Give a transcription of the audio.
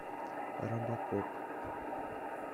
робокоп